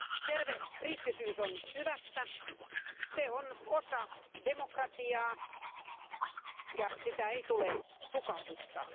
Terve kriittisyys on hyvästä, se on osa demokratiaa ja sitä ei tule tukahduttaa.